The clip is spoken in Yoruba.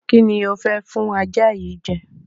Kí ni ò fẹ́ fún ajá yìí jẹ?